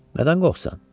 Nədən qorxusan?